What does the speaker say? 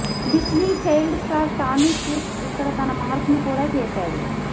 Disney child star Tommy Kirk ఇక్కడ తన mark ను కూడా చేసాడు